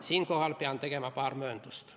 Siinkohal pean tegema paar mööndust.